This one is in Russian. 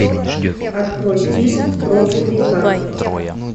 открой фильм проклятый камень